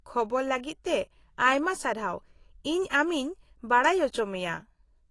-ᱠᱷᱚᱵᱚᱨ ᱞᱟᱹᱜᱤᱫ ᱛᱮ ᱟᱭᱢᱟ ᱥᱟᱨᱦᱟᱣ, ᱤᱧ ᱟᱢᱤᱧ ᱵᱟᱰᱟᱭ ᱚᱪᱚᱢᱮᱭᱟ ᱾